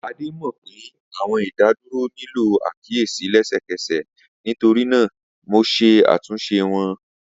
Ade mọ pe, Awọn idaduro nilo akiyesi lẹsẹkẹsẹ, nitorinaa Mo ṣe atunṣe wọn.